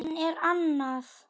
Hann er annað